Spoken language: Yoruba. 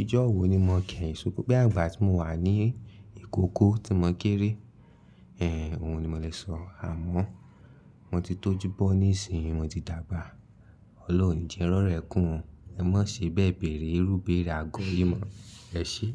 ijó wo ni mo kẹ́yìn sunkún bí àgbà tí mo wà ní ìkókó tí mo kéré, ẹ, òun ni mo le sọ. Àmọ́ mo ti tó júbọ́ ní ìsìn, mo ti dàgbà. Ọlọ́run oni jẹ́ n rorọ́ ẹ̀kún. Ẹ má ṣe bẹ́ẹ̀ bèrè, irúbẹ̀rẹ agọ́ yìí mọ̀. Ẹ ṣé.